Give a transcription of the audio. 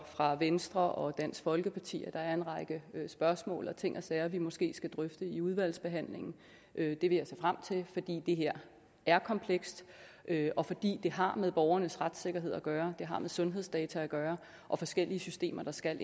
fra venstre og dansk folkeparti at der er en række spørgsmål og ting og sager vi måske skal drøfte i udvalgsbehandlingen det vil jeg se frem til fordi det her er komplekst og fordi det har med borgernes retssikkerhed at gøre det har med sundhedsdata at gøre og forskellige systemer der skal